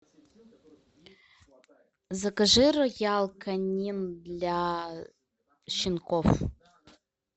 закажи роял канин для щенков